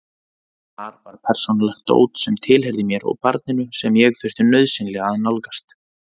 Þar var persónulegt dót sem tilheyrði mér og barninu sem ég þurfti nauðsynlega að nálgast.